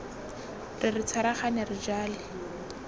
re re tshwaragane re jale